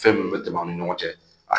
Fɛn minnu bɛ tɛmɛ an ni ɲɔgɔn cɛ